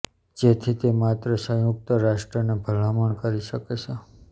જેથી તે માત્ર સંયુક્ત રાષ્ટ્રને ભલામણ કરી શકે છે